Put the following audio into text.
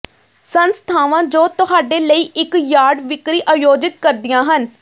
ਸੰਸਥਾਵਾਂ ਜੋ ਤੁਹਾਡੇ ਲਈ ਇੱਕ ਯਾਰਡ ਵਿਕਰੀ ਆਯੋਜਿਤ ਕਰਦੀਆਂ ਹਨ